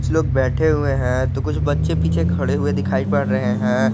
कुछ लोग बैठे हुए हैं तो कुछ बच्चे पीछे खड़े हुए दिखाई पड़ रहे हैं।